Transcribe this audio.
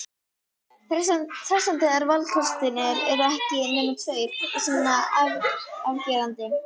Hressandi þegar valkostirnir eru ekki nema tveir og svona afgerandi.